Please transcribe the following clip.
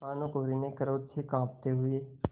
भानुकुँवरि ने क्रोध से कॉँपते हुए